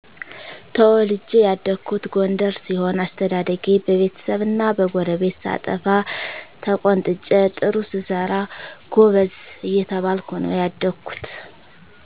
ተወልጄ ያደኩት ጎንደር ሲሆን አስተዳደጌ በቤተሰብና በጎረቤት ሳጠፋ ተቆንጥጨ ጥሩ ስሰራ ጎበዝ እየተባልኩ ነው ያደኩት